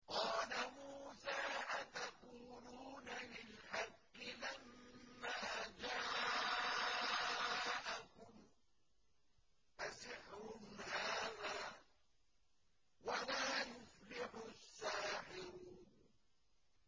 قَالَ مُوسَىٰ أَتَقُولُونَ لِلْحَقِّ لَمَّا جَاءَكُمْ ۖ أَسِحْرٌ هَٰذَا وَلَا يُفْلِحُ السَّاحِرُونَ